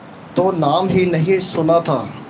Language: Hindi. तो नाम ही नहीं सुना था